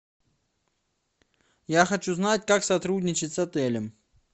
я хочу знать как сотрудничать с отелем